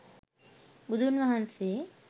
බුදුන් වහන්සේ